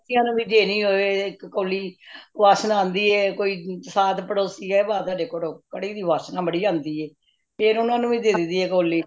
ਪੜੋਸੀਆਂ ਨੂੰ ਵੀ ਦੇਣੀ ਹੋਏ ਇੱਕ ਕੋਲੀ ਵਾਸਨਾ ਆਂਦੀ ਹੈ ਕੋਈ ਸਾਥ ਪੜੋਹਸੀ ਹੈ ਵਾਹ ਤੁਹਾਡੇ ਘਰੋਂ ਕੜੀ ਦੀ ਵਾਸ਼ਨਾ ਬੜੀ ਆਂਦੀ ਹੈ ਫੇਰ ਉਨਾਂ ਨੂੰ ਵੀ ਦੇ ਦੇਂਦੀ ਹੈ ਕੋਲੀ